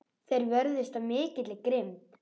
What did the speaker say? Þeir vörðust af mikilli grimmd.